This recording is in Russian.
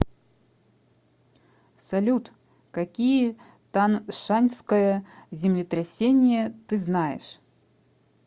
салют какие таншаньское землетрясение ты знаешь